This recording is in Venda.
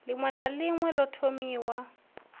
ḽiṅwe na ḽiṅwe ḓo thomiwaho